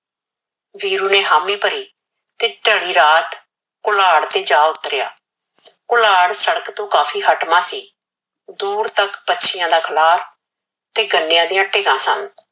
ਵੀਰੂ ਨੇ ਹਾਮੀ ਭਰੀ ਤੇ ਥ੍ਰੀ ਰਾਤ ਕੁਲਾੜ ਤੇ ਜਾ ਉਤਰਿਆ ਕੁਲਾੜ ਸੜਕ ਤੋਂ ਕਾਫੀ ਹਟਵਾ ਸੀ ਦੁਰ ਤਕ ਪਛਈਆ ਦਾ ਖਲਾ ਤੇ ਗਨਿਆ ਦੀਆ ਟੇਹਾ ਸਨ